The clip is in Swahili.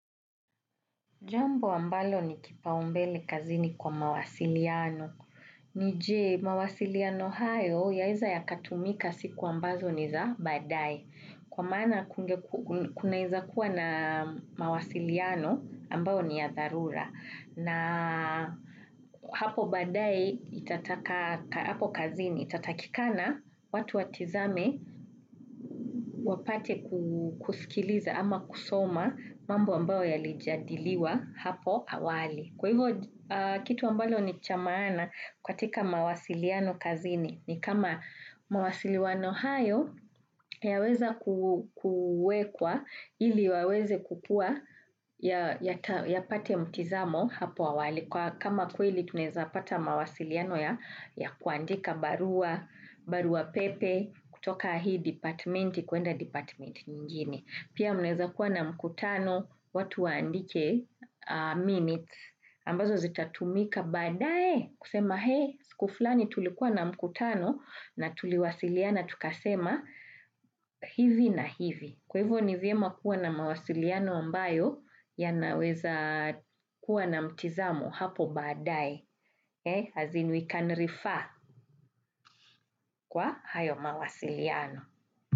Jambo ambalo ni kipaumbele kazini kwa mawasiliano. Nije, mawasiliano hayo yaweza yaka tumika siku ambazo ni za baadae. Kwa mana kuna weza kuwa na mawasiliano ambao ni ya tharura. Na hapo badae hapo kazini itatatikana watu watizame wapate kusikiliza ama kusoma mambo ambao ya lijadiliwa hapo awali. Kwa hivyo kitu ambacho ni chamaana katika mawasiliano kazini. Ni kama mawasiliano hayo yaweza kuwekwa ili waweze kukua ya pate mtizamo hapo awali. Kwa kama kweli tunaweza pata mawasiliano ya ya kuandika barua, barua pepe kutoka hii departamenti, kwenda departamenti nyingine. Pia mnaweza kuwa na mkutano watu waandike minute ambazo zitatumika badae kusema hee skuflani tulikuwa na mkutano na tuliwasiliana tukasema hivi na hivi. Kwa hivyo nivyema kuwa na mawasiliano ambayo ya naweza kuwa na mtizamo hapo badae as inuikanrifa kwa hayo mawasiliano.